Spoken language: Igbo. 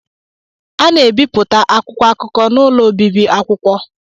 A na-ebipụta akwụkwọ akụkọ n'ụlọ obibi akwụkwọ.